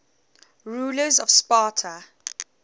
rulers of sparta